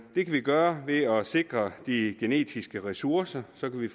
vi gøre ved at sikre de genetiske ressourcer så kan vi